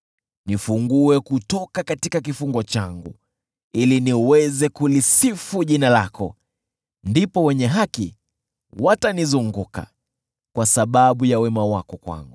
Nifungue kutoka kifungo changu, ili niweze kulisifu jina lako. Ndipo wenye haki watanizunguka, kwa sababu ya wema wako kwangu.